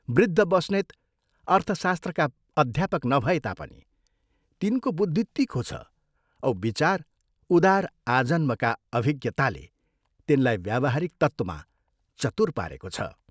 वृद्ध बस्नेत अर्थशास्त्रका अध्यापक नभए तापनि, तिनको बुद्धि तीखो छ औ विचार उदार आजन्मका अभिज्ञताले तिनलाई व्यावहारिक तत्त्वमा चतुर पारेको छ।